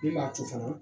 Mun b'a to fana